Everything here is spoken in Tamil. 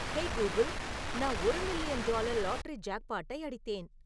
ஹேய் கூகிள் நான் ஒரு மில்லியன் டாலர் லாட்டரி ஜாக்பாட்டை அடித்தேன்